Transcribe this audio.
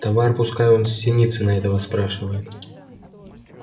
товар пускай он с синицына этого спрашивает